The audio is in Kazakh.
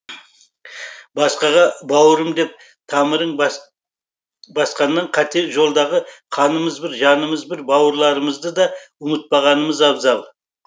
басқаға бауырым деп тамырың басқаннан қате жолдағы қанымыз бір жанымыз бір бауырларымызды да ұмытпағанымыз абзал